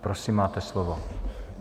Prosím, máte slovo.